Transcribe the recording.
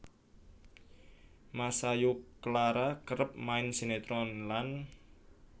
Masayu Clara kerep main sinetron lan